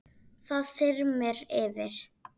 Það þyrmir yfir.